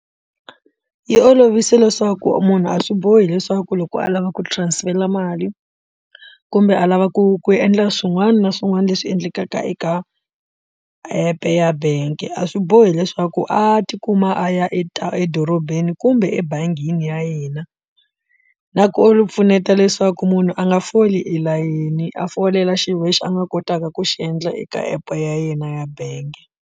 Yi olovise leswaku munhu a swi bohi leswaku loko a lava ku transfer mali kumbe a lava ku ku endla swin'wana na swin'wana leswi endlekaka eka app ya bangi a swi bohi leswaku a tikuma a ya edorobeni kumbe ebangini ya hina na ku u pfuneta leswaku munhu a nga foli elayeni a folela xi wexe a nga kotaka ku xi endla eka app ya yena ya bangi.